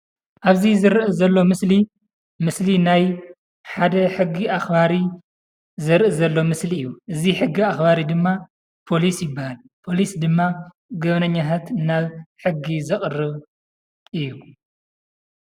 ኣብዚ ዝረአ ዘሎ ምስሊ፡ ምስሊ ናይ ሓደ ሕጊ ኣኽባሪ ዘርኢ ዘሎ ምስሊ እዩ፡፡ እዚ ሕጊ ኣኽባሪ ድማ ፖሊስ ይባሃል፡፡ ፖሊስ ድማ ገበነኛታት ናብ ሕጊ ዘቕርብ እዩ፡፡